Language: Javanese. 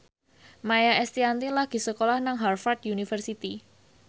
Maia Estianty lagi sekolah nang Harvard university